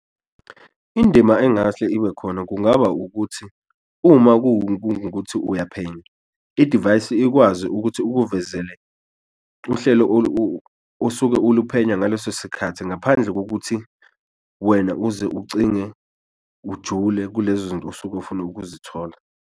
Indima engase ibe khona kungaba ukuthi uma kungukuthi uyaphenya idivayisi ikwazi ukuthi ukuvezele uhlelo osuke uluphenya ngaleso sikhathi ngaphandle kokuthi wena uze ucinge ujule kulezo zinto osuke ufuna ukuzithola.